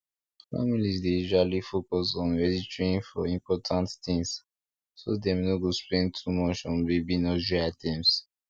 families dey usually focus on registering for important things so dem no go spend too much on baby nursery items